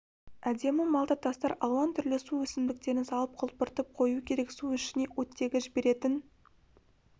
әдемі малта тастар алуан түрлі су өсімдіктерін салып құлпыртып қою керек су ішіне оттегі жіберетін